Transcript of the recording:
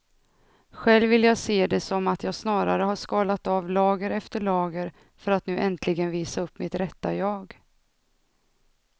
Själv vill jag se det som att jag snarare har skalat av lager efter lager för att nu äntligen visa upp mitt rätta jag.